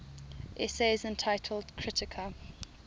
essays entitled kritika